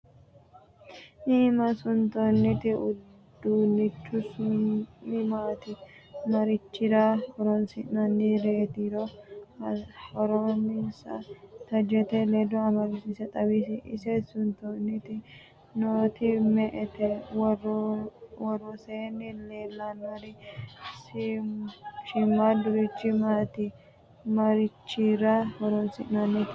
iima suntoonniti uduunnich su'mi maati? marichirra horonsi'nannireetiro horonssa tajette leddo amadisiise xawisi? ise sutannite nooti me'ete? Woroseenni leelannori shiimaadu richi maati? marichirra horonsi'nannireeti?